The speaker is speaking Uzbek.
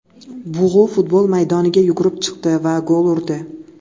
Bug‘u futbol maydoniga yugurib chiqdi va gol urdi .